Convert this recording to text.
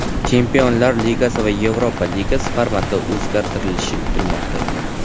Chempionlar Ligasi va Yevropa Ligasi formati o‘zgartirilishi kutilmoqda.